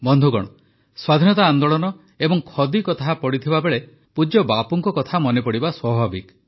ବନ୍ଧୁଗଣ ସ୍ୱାଧୀନତା ଆନ୍ଦୋଳନ ଏବଂ ଖଦୀ କଥା ପଡ଼ିଥିବା ବେଳେ ପୂଜ୍ୟ ବାପୁଙ୍କ କଥା ମନେପଡ଼ିବା ସ୍ୱାଭାବିକ